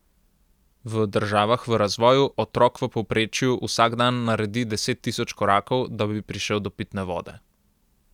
V državah v razvoju otrok v povprečju vsak dan naredi deset tisoč korakov, da bi prišel do pitne vode.